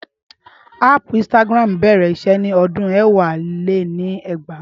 Áàpù Instagram bẹ̀rẹ̀ iṣẹ́ ní ọdún ẹ̀wá-lé-ni-ẹgbàá